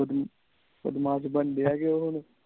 ਬਦਮਾਸ਼ ਬਾਨਾਂ ਡਾ ਕੇ ਉਹ ਹੁਣ